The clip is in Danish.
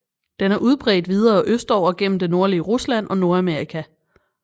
Den er udbredt videre østover gennem det nordlige Rusland og Nordamerika